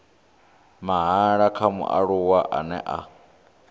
mahala kha mualuwa ane a